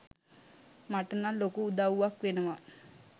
මටනං ලොකු උදව්වක් වෙනවා.